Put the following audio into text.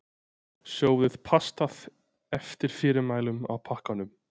Sjóðið pastað eftir fyrirmælum á pakkanum.